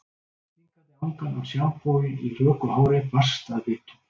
Stingandi angan af sjampói í röku hári barst að vitum